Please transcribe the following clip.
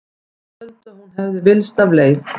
Menn töldu að hún hefði villst af leið.